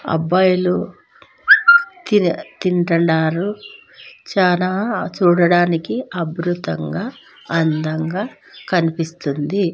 అబ్బాయిలు తింన్ తింటండారు చానా చూడడానికి అబ్రుతంగా అందంగా కనిపిస్తుంది.